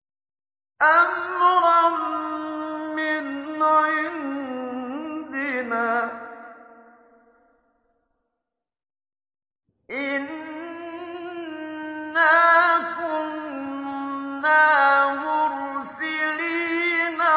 أَمْرًا مِّنْ عِندِنَا ۚ إِنَّا كُنَّا مُرْسِلِينَ